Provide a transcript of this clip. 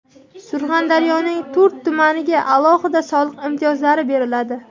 Surxondaryoning to‘rt tumaniga alohida soliq imtiyozlari beriladi.